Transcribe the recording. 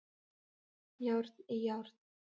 Járn í járn